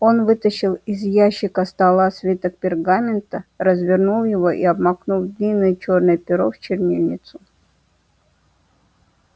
он вытащил из ящика стола свиток пергамента развернул его и обмакнул длинное чёрное перо в чернильницу